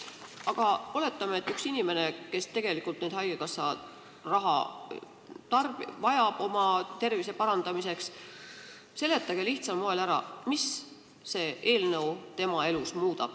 Aga seletage lihtsal moel ära inimesele, kes tegelikult haigekassa raha oma tervise parandamiseks vajab, mida see eelnõu tema elus muudab.